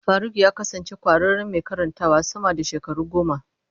Faruk ya kasance ƙwararren mai karantawa sama da shekaru goma.